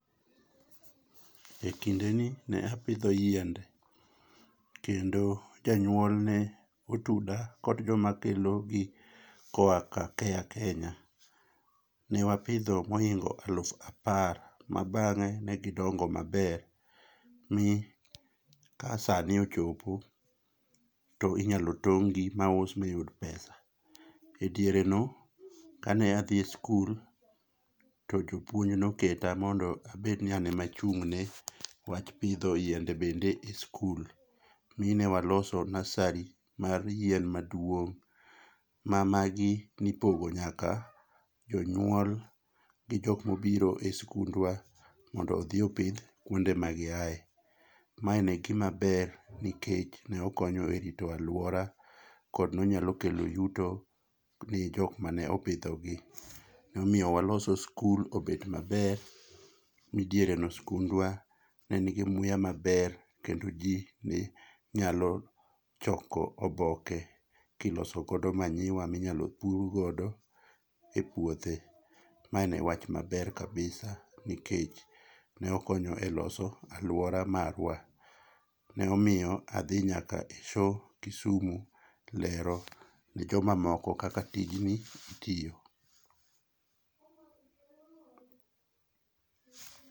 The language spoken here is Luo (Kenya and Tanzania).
Ekinde ni ne apidho yiende, kendo janyuol ne otuda kod joma kelo gi koa ka care kenya. Ne wapidho moingo alufu apar, mabang'e negidongo maber mi kasa ne ochopo to inyalo tong'gi mau mayud pesa. Ediereno kane a dhi school, jopuonj noketa mondo abed ni an ema aching'ne wach pidho yiende bende school mi ne wa loso nursery mar yien maduong' ma magi ne ipogo nyaka jonyuol gi jok maobiro e skundwa, mondo odhi opidh kuma giae. Ma ne gima ber nikech nokonyo e rito aluora kod nonyalo kelo yuto ne jok ma opidhogi. Nomiyo waloso skul obet maber mi diereno skundwa ne nigi muya maber kendo ji nenyalo choko oboke kiloso go [sc]manure minyalo pur godo e puothe. Ma ne wach maber kabisa nikech nokonyo e loso aluora marwa. Ne miyo adhi nyaka e show kisume lero ne jomamoko kaka tijni itiyo.